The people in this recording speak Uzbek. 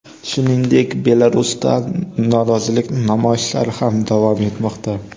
Shuningdek, Belarusda norozilik namoyishlari ham davom etmoqda.